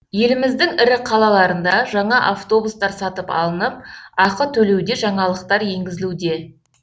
еліміздің ірі қалаларында жаңа автобустар сатып алынып ақы төлеуде жаңалықтар енгізілуде